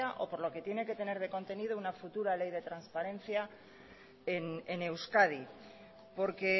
o por lo que tiene que tener de contenido una futura ley de transparencia en euskadi porque